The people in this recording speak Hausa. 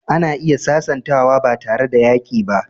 Ana iya sasantawa ba tare da yaƙi ba.